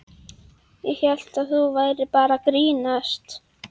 Ég hélt að þú værir bara að grínast.